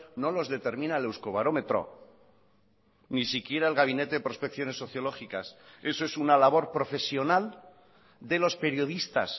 no los determina el euskobarómetro ni siquiera el gabinete de prospecciones sociológicas eso es una labor profesional de los periodistas